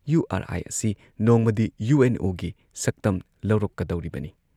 U R I ꯑꯁꯤ ꯅꯣꯡꯃꯗꯤ U N O ꯒꯤ ꯁꯛꯇꯝ ꯂꯧꯔꯛꯀꯗꯧꯔꯤꯕꯅꯤ ꯫